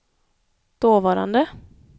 dåvarande